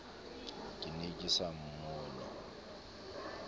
ke ne ke sa mmone